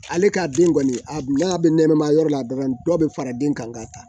Ale ka den kɔni a n'a bɛ nɛnɛma yɔrɔ la dɔrɔn dɔ bɛ fara den kan ka taa